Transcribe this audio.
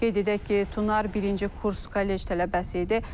Qeyd edək ki, Tunar birinci kurs kollec tələbəsi idi.